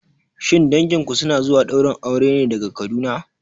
Shin danginku suna zuwa ɗaurin auren ne daga Kaduna?